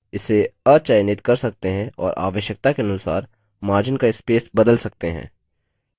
इसे अचयनित कर सकते हैं और आवश्यकता के अनुसार margin का स्पेस बदल सकते हैं